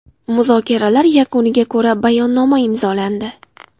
Muzokaralar yakuniga ko‘ra Bayonnoma imzolandi.